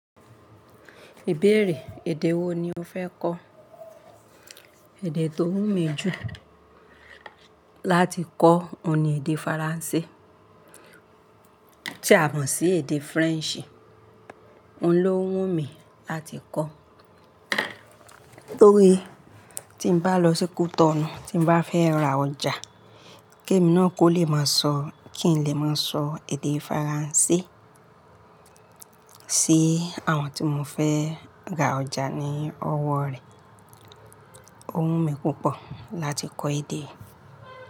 Ìbéèrè èdè wo ni o fẹ́ kọ́? Ẹ̀dẹ̀ tó wù mí jù láti kọ́ òun ni èdè Faransé. Tí a mọ̀ sí èdè French, òun ló wù mí láti kọ́. Nítorí tí n bá lọ sí Cotonou, tí n bá fẹ́ ra ọjà, kí èmi náà kó lè máa sọ, kí n lè máa sọ èdè Faransé sí àwọn tí mo fẹ́ ra ọjà ní ọwọ́ rẹ̀. Ó wù mí púpọ̀ láti kọ́ èdè.